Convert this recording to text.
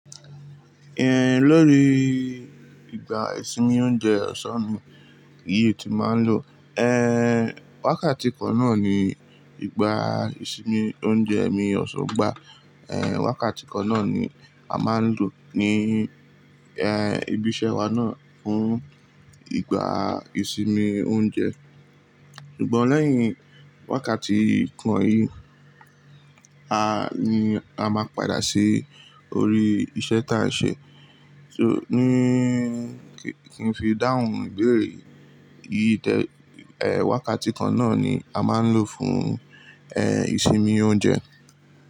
Ẹ lórí ìgbà ìsinmi oúnjẹ ọ̀sán mi yìí tí mà ń lò. Ẹ̀ wákàtí kan náà ni ìgbà ìsinmi oúnjẹ mi ọ̀sán gbá. Ẹ̀ wákàtí kan náà ni a máa ń lò ní ẹ́ ibi iṣẹ́ wa náà fún ìgbà ìsinmi oúnjẹ. Ṣùgbọ́n lẹ́yìn wákàtí kan yìí, ni a máa padà sí orí iṣẹ́ tí à ń ṣe. So ní kí n fi dáhùn ibéèrè yìí tẹ. Ẹ̀ wákàtí kan náà ni a máa ń lò fún ẹ̀ ìsinmi oúnjẹ.